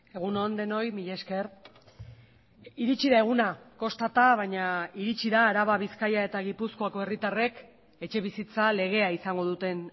egun on denoi mila esker iritsi da eguna kostata baina iritsi da araba bizkaia eta gipuzkoako herritarrek etxebizitza legea izango duten